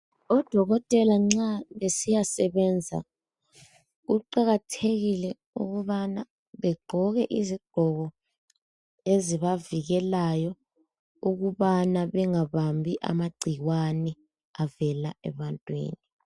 Odokotela nxa besiyasebenza kuqakathekile ukubana begqoke izigqoko ezibavikelayo ukubana bengabambi amagcikwane avela ebantwini